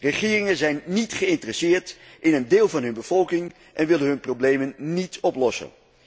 Regeringen zijn niet geïnteresseerd in een deel van hun bevolking en willen hun problemen niet oplossen.